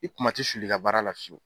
I kuma ti suli i ka baara la fiyewu